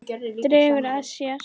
Dregur að sér.